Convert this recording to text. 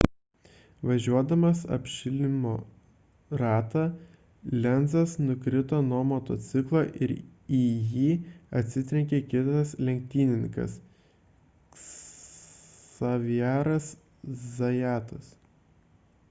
važiuodamas apšilimo ratą lenzas nukrito nuo motociklo ir į jį atsitrenkė kitas lenktynininkas xavieras zayatas